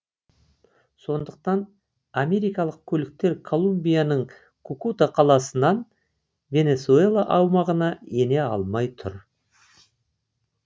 сондықтан америкалық көліктер колумбияның кукута қаласынан венесуэла аумағына ене алмай тұр